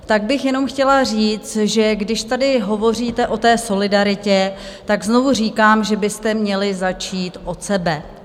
Tak bych jenom chtěla říct, že když tady hovoříte o té solidaritě, tak znovu říkám, že byste měli začít od sebe.